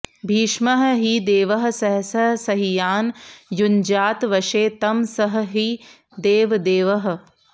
भीष्मः हि देवः सहसः सहीयान् युञ्ज्यात् वशे तं सः हि देवदेवः